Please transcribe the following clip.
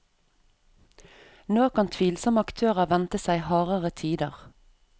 Nå kan tvilsomme aktører vente seg hardere tider.